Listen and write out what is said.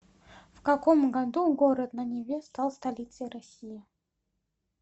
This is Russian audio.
в каком году город на неве стал столицей россии